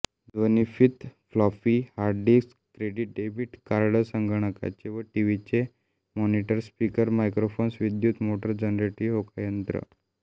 ध्वनिफ़ीत floppy hard disk credit debit card संगणकाचे व टिव्हीचे मॉनिटर्स स्पीकर्स मायक्रोफ़ोन्स विद्युत मोटार जनरेटर्स होकायंत्र